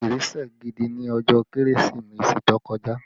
Ìrì sẹ̀ gidi ní ọjọ́ Kérésìmesì tó kọjá